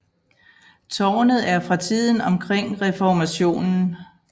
Tårnet er fra tiden omkring reformationen